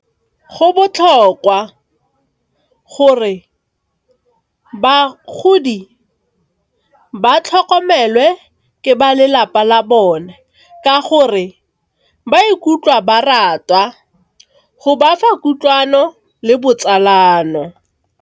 Go botlhokwa bagodi ba tlhokomele ke ba lelapa la bone ka gore ba ikutlwa baratwa go bafa kutlwano le botsalano.